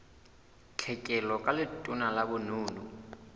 tlhekelo ka letona la bonono